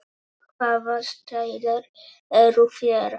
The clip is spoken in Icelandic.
Hvaða stælar eru í þér?